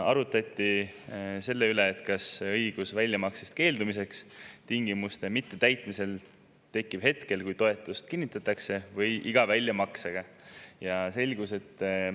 Arutati selle üle, kas õigus keelduda väljamaksest tingimuste mittetäitmisel tekib hetkel, kui toetus kinnitatakse, või iga väljamakse eel.